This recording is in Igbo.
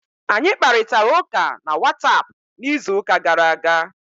Anyị kparịtara ụka na whatapp n'izuụka gara aga